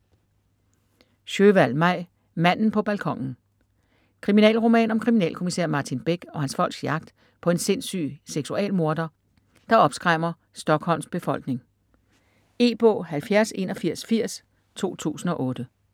Sjöwall, Maj: Manden på balkonen Kriminalroman om kriminalkommissær Martin Beck og hans folks jagt på en sindssyg seksualmorder, der opskræmmer Stockholms befolkning. E-bog 708180 2008.